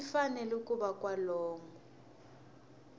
xi fanele ku va kwalomu